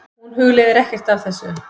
Hún hugleiðir ekkert af þessu.